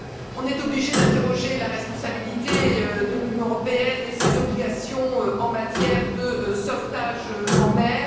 On est obligé d'interroger la responsabilité de l'Union européenne et ses obligations en matière de sauvetage en mer.